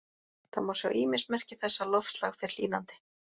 Það má sjá ýmis merki þess að loftslag fer hlýnandi.